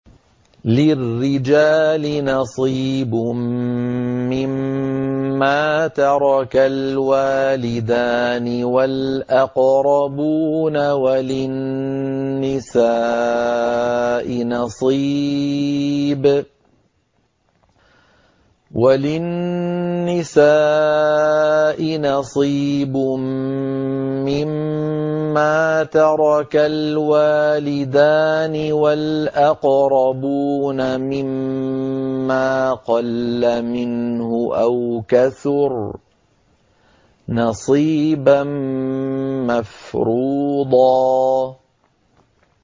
لِّلرِّجَالِ نَصِيبٌ مِّمَّا تَرَكَ الْوَالِدَانِ وَالْأَقْرَبُونَ وَلِلنِّسَاءِ نَصِيبٌ مِّمَّا تَرَكَ الْوَالِدَانِ وَالْأَقْرَبُونَ مِمَّا قَلَّ مِنْهُ أَوْ كَثُرَ ۚ نَصِيبًا مَّفْرُوضًا